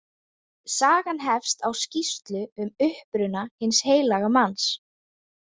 Sagan hefst á skýrslu um uppruna hins heilaga manns.